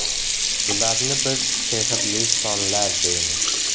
Bularni biz ‘sehrli sonlar’ deymiz ”.